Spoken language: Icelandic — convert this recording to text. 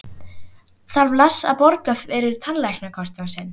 Þarf Lars að borga fyrir tannlæknakostnað sinn?